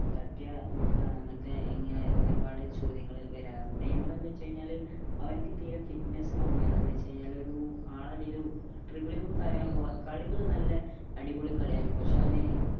തട്ടിയ വീക് ആണ് അങ്ങനത്തെ ഇങ്ങനെ ഒരുപാട് ചോദ്യങ്ങൾ വരാറിണ്ട് നെയ്മർ എന്താന്ന് വെച്ച് കഴിഞ്ഞ അവനിക്ക് തീരാ fitness കമ്മിയാണ് എന്താ'വെച്ച് കഴിഞ്ഞ ഒരു ആളെ ഇടയിൽ dribbling ഉം കാര്യങ്ങളും കളികൾ നല്ല അടിപൊളി കളിയായിരിക്കും പക്ഷേ അവൻ